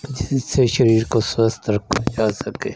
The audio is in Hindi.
जिससे शरीर को स्वस्थ रखा जा सके